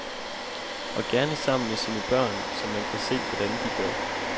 Og gerne sammen med sine børn, så man kan se, hvordan de gør.